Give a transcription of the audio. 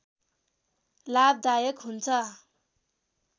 लाभदायक हुन्छ